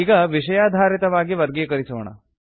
ಈಗ ವಿಷಯಾಧಾರಿತವಾಗಿ ವರ್ಗೀಕರಿಸೋಣ